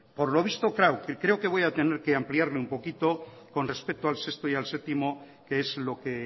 por lo visto creo que voy a tener que ampliarlo un poquito con respecto al sexto y al séptimo que es lo que